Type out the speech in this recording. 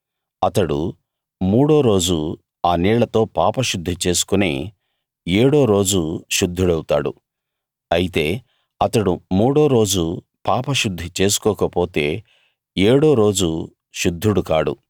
అతడు మూడో రోజు ఆ నీళ్ళతో పాపశుద్ధి చేసుకుని ఏడో రోజు శుద్ధుడౌతాడు అయితే అతడు మూడో రోజు పాపశుద్ధి చేసుకోకపోతే ఏడో రోజు శుద్ధుడు కాడు